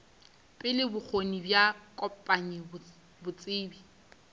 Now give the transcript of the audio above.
pele bokgoni bja kopanya botsebi